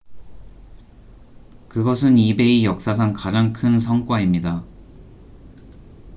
그것은 ebay 역사상 가장 큰 성과입니다